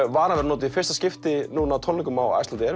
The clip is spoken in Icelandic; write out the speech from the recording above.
varan verður notuð í fyrsta skipti núna á tónleikum á Iceland